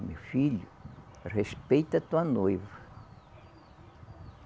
Meu filho, respeita a tua noiva.